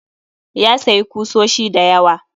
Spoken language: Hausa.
Ya sayi kusoshi dayawa